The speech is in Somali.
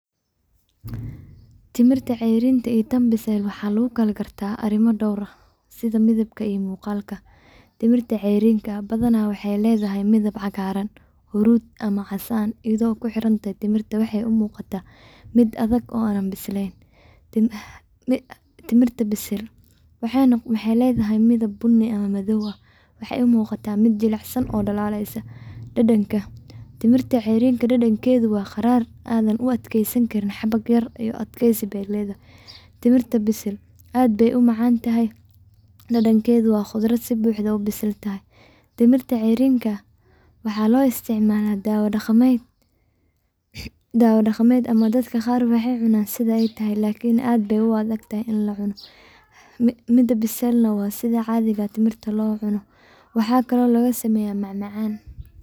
Midhaha tamarind cayriin waxay leeyihiin dhadhan aad u dhanaan ah oo xoog leh, taasoo keenta inay dadka qaar ka dareemaan afkooda qaniinyo ama xanuun fudud marka la calaalinayo, halka tamarind bisil ay leedahay dhadhan macaan iyo dhanaan isku dheelitiran oo fududaan kara in si toos ah loo cuno ama loogu daro cuntooyinka sida suugada, maraqa ama casiirka. Tamarind cayriin ah badanaa waxaa laga dareemaa ur qadhaadh ama xoog leh oo dabiici ah, taasoo ah calaamad muujinaysa.